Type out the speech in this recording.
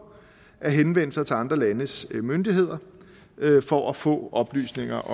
at henvende sig til andre landes myndigheder for at få oplysninger